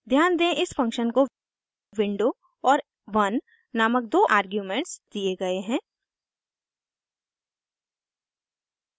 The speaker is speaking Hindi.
ध्यान दें इस फंक्शन को विंडो और 1 नामक दो आर्ग्यूमेंट्स दिए गए है